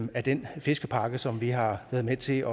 af den fiskepakke som vi har været med til